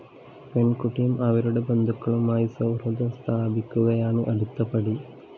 പെണ്‍കുട്ടിയും അവരുടെ ബന്ധുക്കളുമായി സൗഹൃദം സ്ഥാപിക്കുകയാണ് അടുത്ത പടി